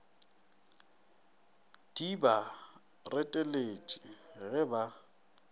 di ba reteletše ge ba